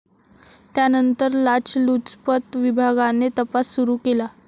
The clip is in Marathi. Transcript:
त्यानंतर लाचलुचपत विभागाने तपास सुरू केला.